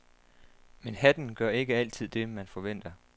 Men hatten gør ikke altid det, man forventer.